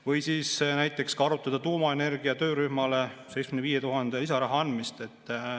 Või siis näiteks ka arutada tuumaenergia töörühmale 75 000 lisaeuro andmist.